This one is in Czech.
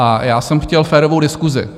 A já jsem chtěl férovou diskusi.